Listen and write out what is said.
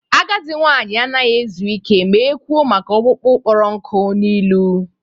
Agadi nwanyị anaghị ezu ike ma e kwụọ maka ọkpụkpụ kpọrọ nkụ n'ilu